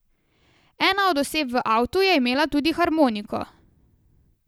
Ena od oseb v avtu je imela tudi harmoniko.